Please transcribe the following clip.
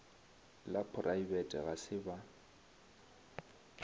la poraebete ga se ba